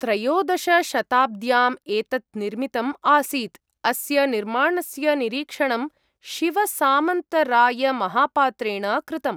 त्रयोदशशताब्द्याम् एतत् निर्मितम् आसीत्। अस्य निर्माणस्य निरीक्षणं शिवसामन्तरायमहापात्रेण कृतम्।